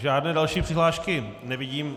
Žádné další přihlášky nevidím.